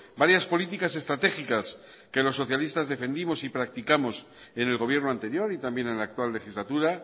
varias políticas estratégicas que los socialistas defendimos y practicamos en el gobierno anterior y también en la actual legislatura